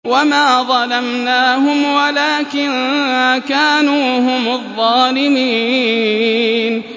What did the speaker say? وَمَا ظَلَمْنَاهُمْ وَلَٰكِن كَانُوا هُمُ الظَّالِمِينَ